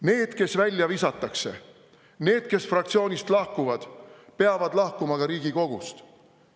Need, kes välja visatakse, need, kes fraktsioonist lahkuvad, peavad lahkuma ka Riigikogust.